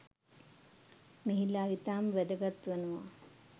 මෙහිලා ඉතාම වැදගත් වනවා.